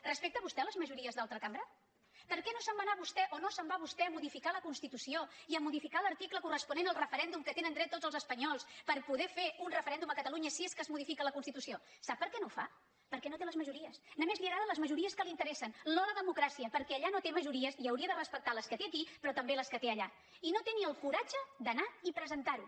respecta vostè les majories d’altra cambra per què no se’n va anar vostè o no se’n va vostè a modificar la constitució i a modificar l’article corresponent al referèndum que tenen dret tots els espanyols per poder fer un referèndum a catalunya si és que es modifica la constitució sap per què no ho fa perquè no té les majories només li agraden les majories que li interessen no la democràcia perquè allà no té majories i hauria de respectar les que té aquí però també les que té allà i no té ni el coratge d’anar hi i presentar ho